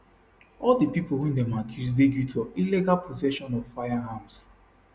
all di pipo wey dem accuse dey guilty of illegal possession of firearms